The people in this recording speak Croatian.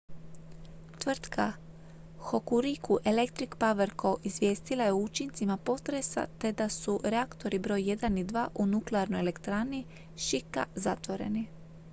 tvrtka hokuriku electric power co izvijestila je o učincima potresa te da su reaktori broj 1 i 2 u nuklearnoj elektrani shika zatvoreni